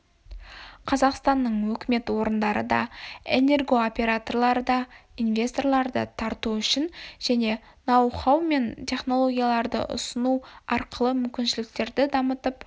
қазақстанның өкімет орындары да энергооператорлары да инвесторларды тарту үшін және нау-хау мен технологияларды ұсыну арқылы мүмкіншіліктерді дамытып